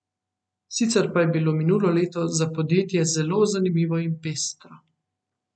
Sicer pa je bilo minulo leto za podjetje zelo zanimivo in pestro.